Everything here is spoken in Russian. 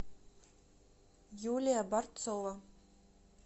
юлия борцова